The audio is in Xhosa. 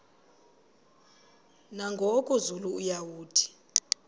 nangoku zulu uauthi